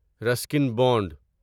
Ruskin bound